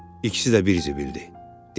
İkisi də bir zibildir, dedi.